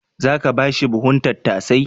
Za ka ba shi buhun tattasai?